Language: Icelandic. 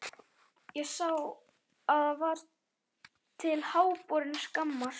Ég sá það og það var til háborinnar skammar.